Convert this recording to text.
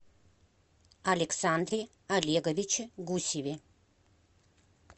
александре олеговиче гусеве